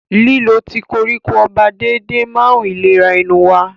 Lílo tíì koríko ọba déédéé máa ń ìlera ẹnu wa lọ́wọ́.